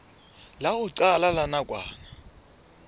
la ho qala la nakwana